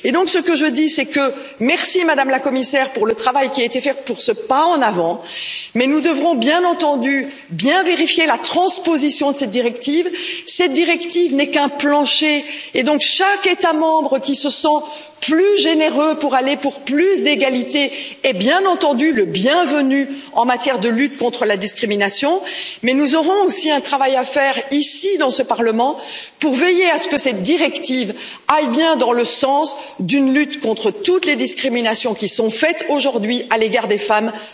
Alors je vous dis merci, Madame la Commissaire, pour le travail qui a été fait pour ce pas en avant, mais nous devrons bien entendu vérifier attentivement la transposition de cette directive. Cette directive n'est qu'un plancher et, par conséquent, chaque État membre qui se sent plus généreux pour aller vers plus d'égalité est, bien entendu, le bienvenu en matière de lutte contre la discrimination. Mais nous aurons aussi un travail à faire ici, dans ce Parlement, pour veiller à ce que cette directive aille bien dans le sens d'une lutte contre toutes les discriminations qui sont commises aujourd'hui à l'égard des femmes sur le marché du travail.